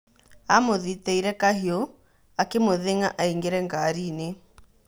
amũthitĩire kahiũ akĩmũthĩng'a aingĩre ngariinĩ.